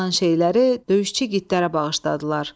Qalan şeyləri döyüşçü igidlərə bağışladılar.